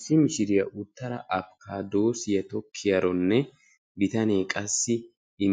Issi mishiriyaa uttada apikaadosiyaa tokkiyaaronne bitanee qassi